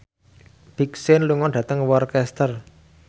Big Sean lunga dhateng Worcester